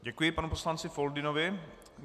Děkuji panu poslanci Foldynovi.